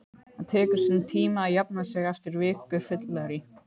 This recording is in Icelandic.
Það tekur sinn tíma að jafna sig eftir viku fyllerí